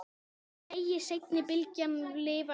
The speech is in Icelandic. Megi seinni bylgjan lifa enn.